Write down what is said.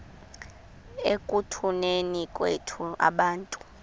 ekutuneni kwethu abantu